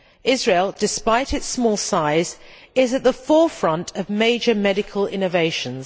Israel, despite its small size, is at the forefront of major medical innovations.